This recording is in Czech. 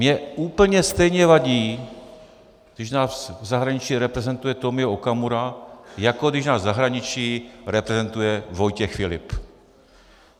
Mně úplně stejně vadí, když nás v zahraničí reprezentuje Tomio Okamura, jako když nás v zahraničí reprezentuje Vojtěch Filip.